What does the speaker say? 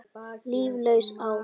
Líflaus ár.